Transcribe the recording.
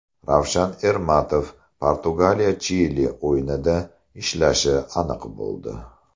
Ravshan Ermatov Portugaliya Chili o‘yinida ishlashi aniq bo‘ldi.